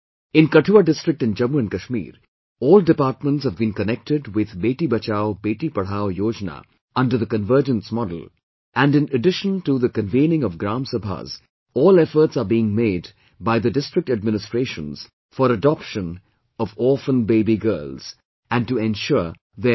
In Kathua district in Jammu & Kashmir, all departments have been connected with 'Beti Bachao Beti Padhao Yojana' under the Convergence Model and in addition to the convening of GramSabhas, all efforts are being made by the district administrations for adoption of orphan baby girls and to ensure their education